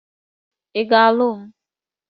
Ị ga-alụ m?